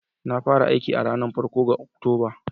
Na fara aiki a ranar farko ga Oktoba